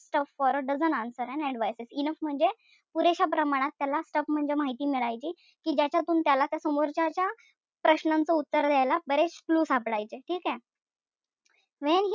Stuff for a dozen answers and advices enough म्हणजे पुरेश्या प्रमाणात त्याला stuff म्हणजे माहिती मिळायची. कि त्याच्यातून त्याला त्या समोरच्याच्या प्रश्नांचं उत्तर द्यायला बरेच clue सापडायचे ठीकेय? when he,